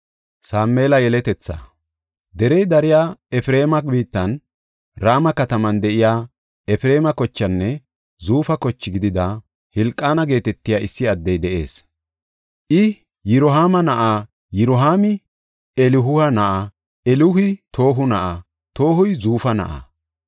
Derey dariya Efreema biittan, Rama kataman de7iya, Efreema kochenne Zuufa koche gidida, Hilqaana geetetiya issi addey de7ees. I Yirohaama na7a; Yirohaami Elihu na7a; Elihu Toohu na7a; Toohuy Zuufa na7aa.